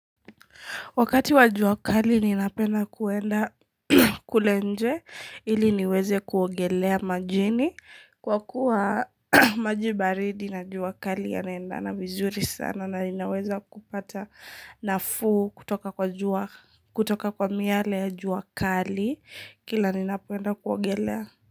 Wakati wa jua kali ninapenda kuenda kule nje ili niweze kuogelea majini kwa kuwa maji baridi na juakali yanaendana vizuri sana na ninaweza kupata nafuu kutoka kwa miale ya juakali kila ninapoenda kuogelea.